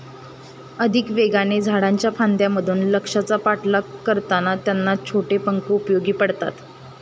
अधिक वेगाने, झाडांच्या फांद्यांमधून, लक्ष्याचा पाठलाग करताना त्यांना छोटे पंख उपयोगी पडतात.